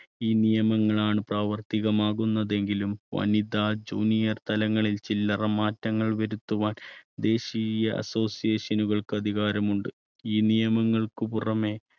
ഈ നിയമങ്ങളാണ് പ്രാവർത്തികമാകുന്നതെങ്കിലും വനിത junior തലങ്ങളിൽ ചില്ലറ മാറ്റങ്ങൾ വരുത്തുവാൻ ദേശീയ association കൾക്ക് അധികാരമുണ്ട്. ഈ നിയമങ്ങൾക്ക് പുറമേ